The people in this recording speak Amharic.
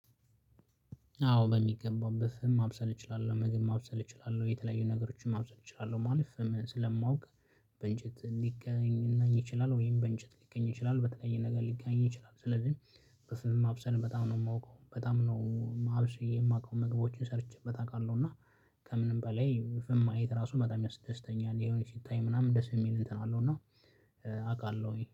አዎ በሚገባበት በፍም ማብሰል እችላለሁ ምግብ ማብሰል እችላለሁ የተለያዩ ነገሮችን ማብሰል እችላለሁ። ማለት በእንጨት ሊገናኝ ይችላል ወይም በእንጨት ሊገኝ ይችላል በተለየ ነገር ሊገኝ ይችላል። ስለዚህ በፍም ማብሰል በጣም ነው የማውቀው በጣም ነው አብሰል የማውቀው መግቦችን ሰርቼበት አውቃለሁ። እና ከምንም በላይ ፍም ማየት ራሱ በጣም ያስደስተኛል። ይሄን ሲታይ ምናምን ደስ የሚል እንትን አለው እና አውቃለሁ ወይ